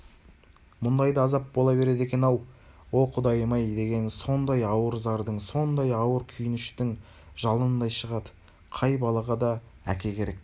мұндай да азап бола береді екен-ау о құдайым-ай дегені сондай ауыр зардың сондай ауыр күйініштің жалынындай шығады қай балаға да әке керек